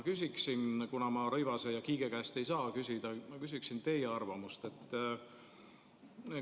Kuna ma Rõivase ja Kiige käest ei saa küsida, siis ma küsin teie arvamust.